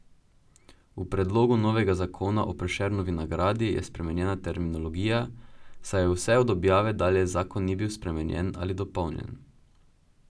V predlogu novega zakona o Prešernovi nagradi je spremenjena terminologija, saj vse od objave dalje zakon ni bil spremenjen ali dopolnjen.